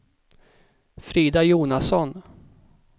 Frida Jonasson